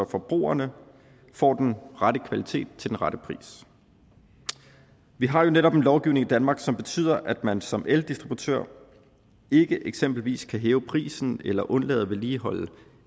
forbrugerne får den rette kvalitet til den rette pris vi har jo netop en lovgivning i danmark som betyder at man som eldistributør ikke eksempelvis kan hæve prisen eller undlade at vedligeholde